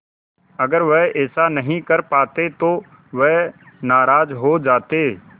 अगर वह ऐसा नहीं कर पाते तो वह नाराज़ हो जाते